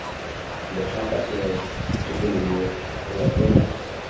lephata gongwe tokololo nngwe fela